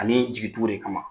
Ani jigi tugu de kama